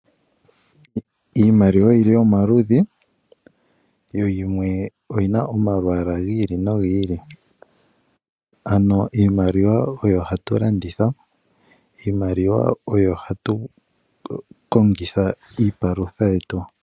Iimaliwa oyili omaludhi, yo yimwe oyina omalwaala gi ili nogi ili, ano iimaliwa oyo hatu landitha, iimaliwa oyo hatu kongitha iipalutha yetu.